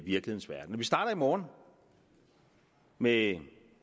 morgen med